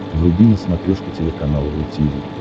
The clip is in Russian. вруби на смотрешке телеканал ру ти ви